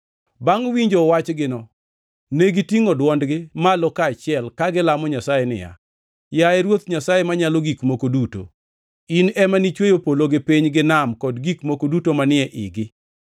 Bangʼ winjo wachgino, negitingʼo dwondgi malo kaachiel ka gilamo Nyasaye niya, “Yaye Ruoth Nyasaye Manyalo Gik Moko Duto, in ema nichweyo polo gi piny gi nam kod gik moko duto manie igi.